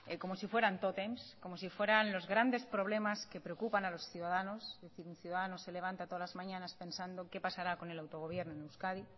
como si fueran tótems como si fueran los grandes problemas que preocupan a los ciudadanos es decir un ciudadano se levanta todas las mañanas pensado qué pasará con el autogobierno en euskadi